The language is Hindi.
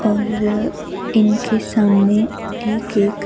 और इनके सामने एक-एक--